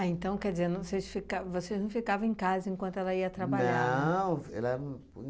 Ah, então, quer dizer, não sei fica vocês não ficavam em casa enquanto ela ia trabalhar? Não, ela não